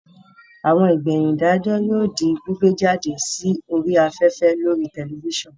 Àwọn ìgbẹ̀yìn ìdájọ́ yóò di gbígbé jáde sí orí afẹ́fẹ́ lórii tẹlifísàn